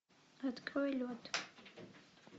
открой лед